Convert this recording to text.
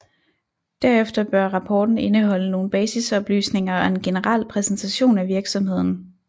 Derefter bør rapporten indeholde nogle basisoplysninger og en generel præsentation af virksomheden